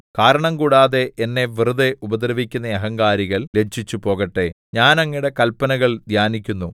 കാരണംകൂടാതെ എന്നെ വെറുതെ ഉപദ്രവിക്കുന്ന അഹങ്കാരികൾ ലജ്ജിച്ചുപോകട്ടെ ഞാൻ അങ്ങയുടെ കല്പനകൾ ധ്യാനിക്കുന്നു